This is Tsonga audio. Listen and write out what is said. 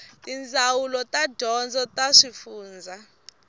tindzawulo ta dyondzo ta swifundzha